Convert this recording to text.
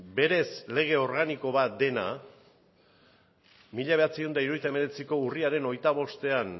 berez lege organiko bat dena mila bederatziehun eta hirurogeita hemeretziko urriaren hogeita bostean